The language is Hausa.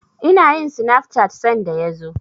Ina yin sinaf cat sanda ya zo.